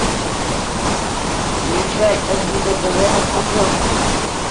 включай ржд тв на смотрешке